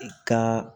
I ka